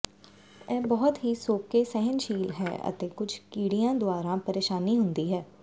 ਇਹ ਬਹੁਤ ਹੀ ਸੋਕੇ ਸਹਿਣਸ਼ੀਲ ਹੈ ਅਤੇ ਕੁਝ ਕੀੜਿਆਂ ਦੁਆਰਾ ਪਰੇਸ਼ਾਨੀ ਹੁੰਦੀ ਹੈ